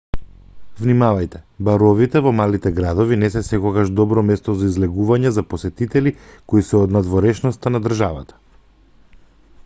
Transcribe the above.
внимавајте баровите во малите градови не се секогаш добро место за излегување за посетители кои се од надворешноста на државата